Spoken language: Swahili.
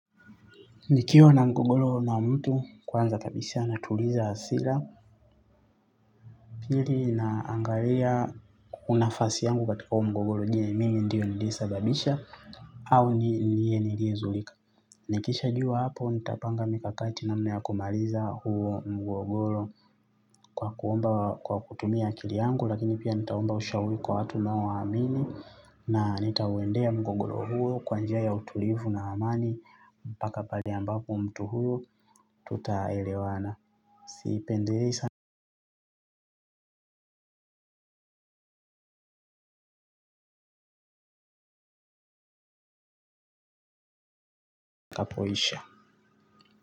Nikiwa na mgogoro na mtu kwanza kabisa natuliza hasira. Pili naangalia nafasi yangu katika huo mgogoro je mimi ndiye niliyesababisha. Au ni yeye niliyezulika. Nikishajua hapo nitapanga mikakati namna ya kumaliza huo mgogoro. Kwa kuomba kwa kutumia akili yangu lakini pia nitaomba ushauri kwa watu ninaowaamini. Na nitauendea mgogoro huo kwa njia ya utulivu na amani. Mpaka pahali ambapo mtu huyo tutaelewana. Sipendelei sana unapoisha.